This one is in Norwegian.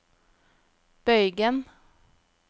bøygen